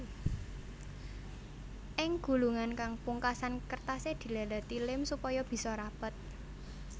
Ing gulungan kang pungkasan kertasé dilèlèti lém supaya bisa rapet